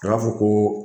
A b'a fɔ ko